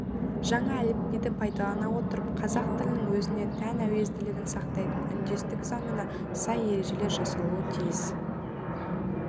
жаңа әліпбиді пайдалана отырып қазақ тілінің өзіне тән әуезділігін сақтайтын үндестік заңына сай ережелер жасалуы тиіс